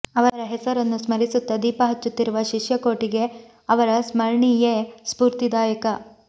ಅವರ ಹೆಸರನ್ನು ಸ್ಮರಿಸುತ್ತ ದೀಪ ಹಚ್ಚುತ್ತಿರುವ ಶಿಷ್ಯ ಕೋಟಿಗೆ ಅವರ ಸ್ಮರಣಿಯೇ ಸ್ಫೂರ್ತಿದಾಯಕ